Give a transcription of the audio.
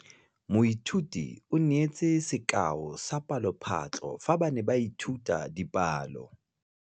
Moithuti o neetse sekaô sa palophatlo fa ba ne ba ithuta dipalo.